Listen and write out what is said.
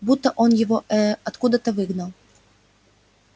будто он его ээ откуда-то выгнал